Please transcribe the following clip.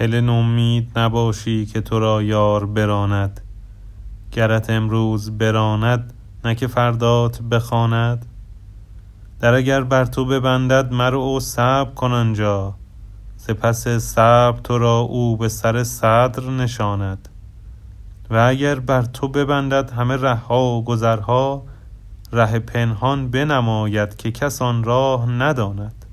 هله نومید نباشی که تو را یار براند گرت امروز براند نه که فردات بخواند در اگر بر تو ببندد مرو و صبر کن آن جا ز پس صبر تو را او به سر صدر نشاند و اگر بر تو ببندد همه ره ها و گذرها ره پنهان بنماید که کس آن راه نداند